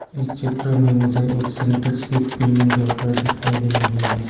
इस चित्र में मुझे एक सिंटेक्स भी इस बिल्डिंग के ऊपर दिखाई दे रही है।